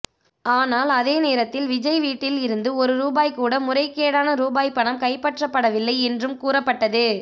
ஆனால் அதே நேரத்தில் விஜய் வீட்டில் இருந்து ஒரு ரூபாய் கூட முறைகேடான ரூபாய் பணம் கைப்பற்றப்படவில்லை என்றும் கூறப்பட்டது